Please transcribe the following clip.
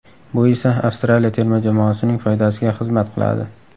Bu esa Avstraliya terma jamoasining foydasiga xizmat qiladi.